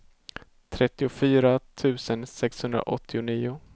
trettiofyra tusen sexhundraåttionio